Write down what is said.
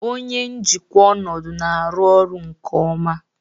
Onye njikwa ọnọdụ na-arụ ọrụ nke ọma